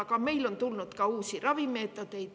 Aga on tulnud ka uusi ravimeetodeid.